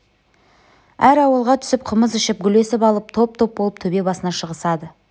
әр ауылға түсіп қымыз ішіп гулесіп алып топ-топ болып төбе басына шығысады